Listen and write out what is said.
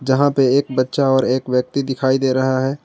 यहां पे एक बच्चा और एक व्यक्ति दिखाई दे रहा है।